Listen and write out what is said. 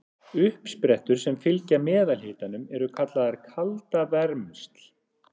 Uppsprettur sem fylgja meðalhitanum eru kallaðar kaldavermsl.